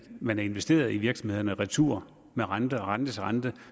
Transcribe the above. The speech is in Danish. man har investeret i virksomhederne retur med renter og rentes rente